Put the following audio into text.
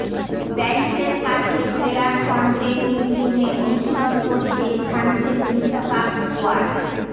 প্যারিসের কাছে ক্লেয়ারফনটেইন ইভলিনে অনুশীলন করছে ফ্রান্সের বিশ্বকাপ স্কোয়াড